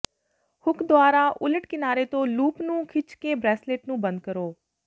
hook ਦੁਆਰਾ ਉਲਟ ਕਿਨਾਰੇ ਤੋਂ ਲੂਪ ਨੂੰ ਖਿੱਚ ਕੇ ਬਰੈਸਲੇਟ ਨੂੰ ਬੰਦ ਕਰੋ